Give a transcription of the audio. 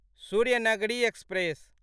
Suryanagari express